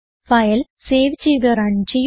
file save ചെയ്ത് run ചെയ്യുക